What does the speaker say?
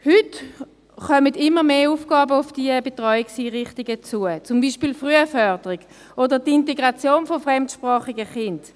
Heute kommen immer mehr Aufgaben auf die Betreuungseinrichtungen zu, zum Beispiel Frühförderung oder die Integration von fremdsprachigen Kindern.